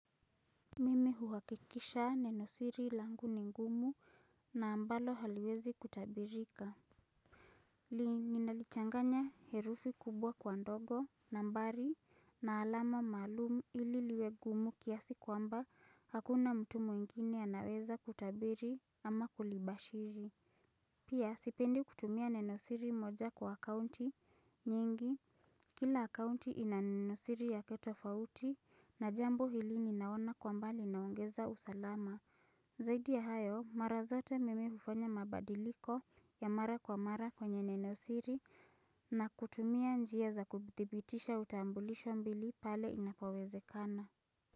Mimi huwakikisha nenosiri languni ngumu na ambalo haliwezi kutabirika li ninalichanganya herufi kubwa kwa ndogo nambari na alama malumu ili liwe gumu kiasi kwamba hakuna mtu mwingine anaweza kutabiri ama kulibashiri Pia, sipendi kutumia nenosiri moja kwa akounti nyingi. Kila akounti ina nenosiri yake tofauti na jambo hili ninaona kwa mbali naongeza usalama. Zaidi ya hayo, mara zote mimi hufanya mabadiliko ya mara kwa mara kwenye nenosiri na kutumia njia za kubitibitisha utambulisho mbili pale inapowezekana.